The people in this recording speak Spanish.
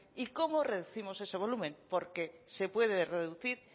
y cómo reducimos ese volumen porque se puede reducir